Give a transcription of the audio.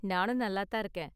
நானும் நல்லா தான் இருக்கேன்.